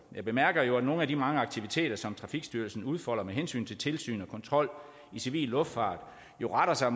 jeg bemærker jo at nogle af de mange aktiviteter som trafikstyrelsen udfolder med hensyn til tilsyn og kontrol med civil luftfart retter sig